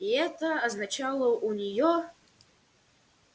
и это означало у нее